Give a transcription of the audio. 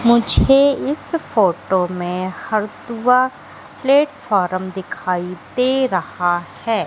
मुझे इस फोटो में हरदुआ प्लेटफार्म दिखाई दे रहा है।